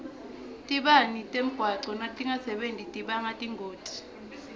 tibane temgwaco natingasebenti tibanga tingoti